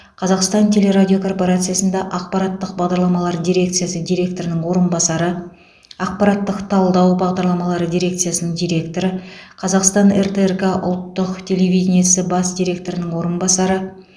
қазақстан теле радио корпорациясында ақпараттық бағдарламалар дирекциясы директорының орынбасары ақпараттық талдау бағдарламалары дирекциясының директоры қазақстан ртрк ұлттық телевидениесі бас директорының орынбасары